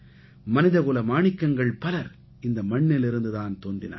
மனிதகுல மாணிக்கங்கள் பலர் இந்த மண்ணிலிருந்து தான் தோன்றினார்கள்